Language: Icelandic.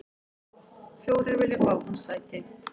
Fjórir vilja fá hans sæti.